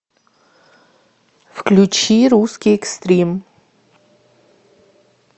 включи русский экстрим